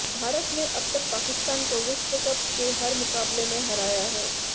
भारत ने अब तक पाकिस्तान को विश्व कप के हर मुकाबले में हराया है